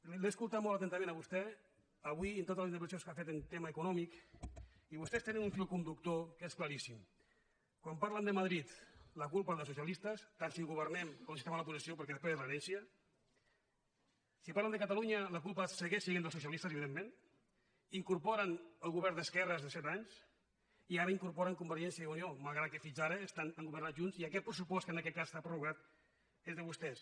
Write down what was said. l’he escoltat molt atentament a vostè avui i en totes les intervencions que ha fet en tema econòmic i vostès tenen un fil conductor que és claríssim quan parlen de madrid la culpa és dels socialistes tant si governem com si estem a l’oposició perquè és l’herència si parlen de catalunya la culpa segueix sent dels socialistes evidentment hi incorporen el govern d’esquerres de set anys i ara hi incorporen convergència i unió malgrat que fins ara han governat junts i aquest pressupost que en aquest cas està prorrogat és de vostès